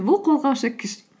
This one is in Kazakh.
бұл қозғаушы күш